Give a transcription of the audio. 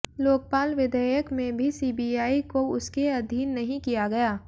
लोकपाल विधेयक में भी सीबीआई को उसके अधीन नहीं किया गया